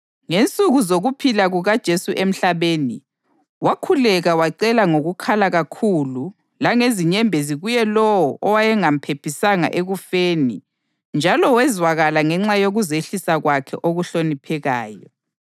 Ngensuku zokuphila kukaJesu emhlabeni, wakhuleka wacela ngokukhala kakhulu langezinyembezi kuye lowo owayengamphephisa ekufeni njalo wezwakala ngenxa yokuzehlisa kwakhe okuhloniphekayo.